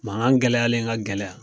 Makan gɛlɛyalen ka gɛlɛya